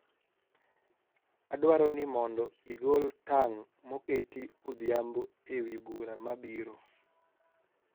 adwaro ni mondo igol tang moketi odhiambo ewi bura mabiro